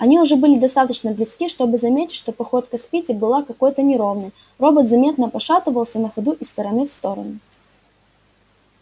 они уже были достаточно близки чтобы заметить что походка спиди была какой-то неровной робот заметно пошатывался на ходу из стороны в сторону